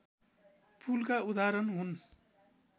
पुलका उदाहरण हुन्